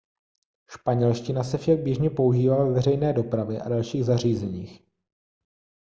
španělština se však běžně používá ve veřejné dopravě a dalších zařízeních